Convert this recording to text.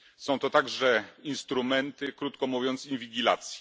Są to także instrumenty krótko mówiąc inwigilacji.